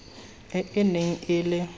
e e neng e le